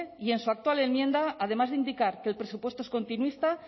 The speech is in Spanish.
y en su actual enmienda además de indicar que el presupuesto es continuista